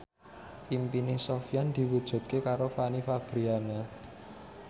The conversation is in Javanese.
impine Sofyan diwujudke karo Fanny Fabriana